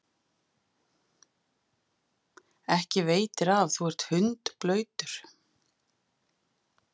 Ekki veitir af, þú ert hundblautur.